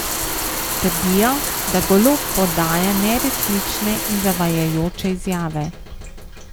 Trdijo, da Golob podaja neresnične in zavajajoče izjave.